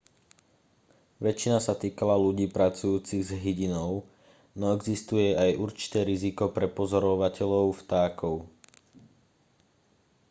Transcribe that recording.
väčšina sa týkala ľudí pracujúcich s hydinou no existuje aj určité riziko pre pozorovateľov vtákov